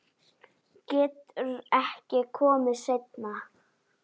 Geturðu ekki komið seinna?